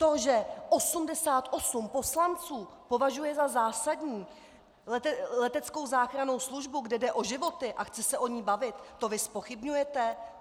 To, že 88 poslanců považuje za zásadní leteckou záchrannou službu, kde jde o životy, a chtějí se o ní bavit, to vy zpochybňujete?